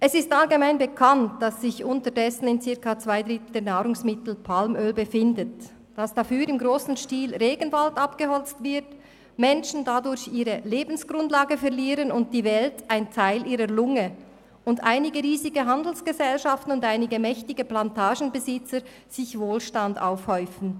Es ist allgemein bekannt, dass sich unterdessen in circa zwei Dritteln der Nahrungsmittel Palmöl befindet, dafür im grossen Stil Regenwald abgeholzt wird, Menschen dadurch ihre Lebensgrundlage verlieren und die Welt einen Teil ihrer Lunge und dass einige riesige Handelsgesellschaften und einige mächtige Plantagenbesitzer häufen dabei Wohlstand für sich an.